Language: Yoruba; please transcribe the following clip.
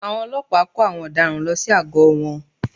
Àwọn ọlọ́pàá kó àwọn ọ̀daràn lọ sí àgọ́ wọn